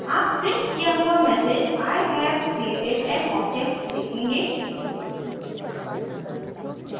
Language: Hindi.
आप प्रिंट किया हुआ message i have created an object देखेंगे